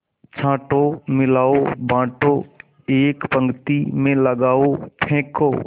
छाँटो मिलाओ बाँटो एक पंक्ति में लगाओ फेंको